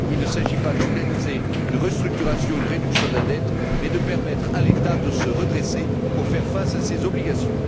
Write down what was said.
Il ne s'agit pas d'organiser une restructuration, une réduction de la dette mais de permettre à l'État de se redresser pour faire face à ses obligations.